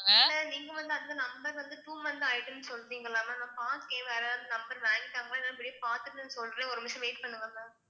நீங்க வந்து அந்த number வந்து two month ஆயிட்டுன்னு சொல்றீங்கல்ல ma'am நான் பாக்கேன் வேற யாராவது number வாங்கிட்டாங்களா இல்லையான்னு போய் பார்த்துட்டு சொல்றேன் ஒரு நிமிஷம் wait பண்ணுங்க ma'am